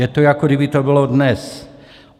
Je to, jako by to bylo dnes.